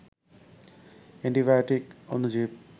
antibiotic অণুজীব